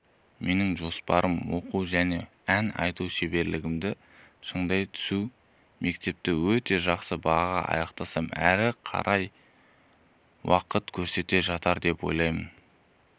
менің жоспарым оқу және ән айту шеберлігімді шыңдай түсу мектепті өте жақсы бағаға аяқтасам әрі қарай уақыт көрсете жатар деп ойлаймын